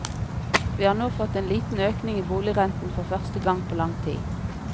Vi har nå fått en liten økning i boligrenten for første gang på lang tid.